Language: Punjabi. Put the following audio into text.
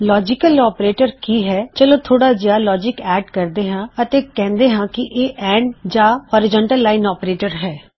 ਲੌਜਿਕਲ ਆਪਰੇਟਰ ਕੀ ਹੈ160 ਚਲੋ ਥੋੜਾ ਜਿਹਾ ਲੌਜਿਕ ਐੱਡ ਕਰਦੇ ਹਾਂ ਅਤੇ ਕਹਿੁੰਦੇ ਹਾਂ ਕਿ ਇਹ ਐਨਡ ਜਾਂ ਹੋਰਿਜ਼ੌਨਟਲ ਲਾਇਨ ਆਪਰੇਟਰ ਹੈ